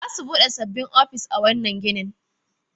Za su bude sabbin ofisoshi a wannan ginin